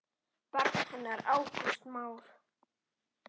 Barn hennar Ágúst Már.